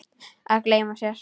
Að gleyma sér